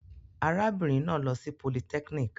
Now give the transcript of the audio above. Arábìnrin náà lọ sí polytechnic.